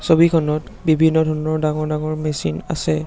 ছবিখনত বিভিন্ন ধৰণৰ ডাঙৰ ডাঙৰ মেচিন আছে।